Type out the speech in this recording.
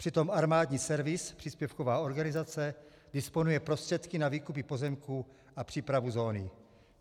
Přitom Armádní Servisní, příspěvková organizace, disponuje prostředky na výkupy pozemků a přípravu zóny.